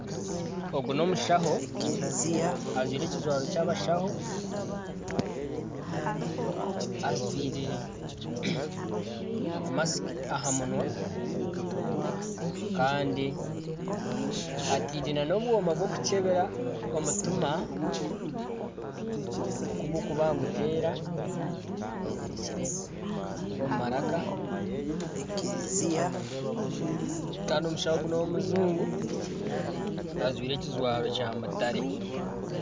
Ogu n'omushaho ajwaire ekijwaro ky'abashaho ajwaire masiki aha munwa kandi ataire n'obwooma bw'okukyebera omutima okugukuba niguteera abwezirikire omu maraka kandi omushaho ogu n'ow'omujungu ajwaire ekijwaro kya mutare.